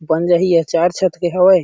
बन जाहि ए ह चार छत के हावय।